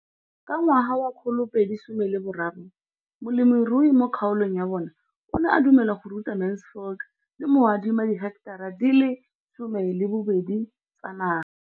Ka ngwaga wa 2013, molemirui mo kgaolong ya bona o ne a dumela go ruta Mansfield le go mo adima di heketara di le 12 tsa naga.